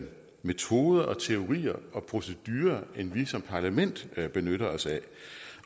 metoder og teorier og procedurer end vi som parlament benytter os af